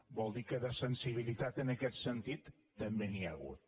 vol dir que de sensibilitat en aquest sentit també n’hi ha hagut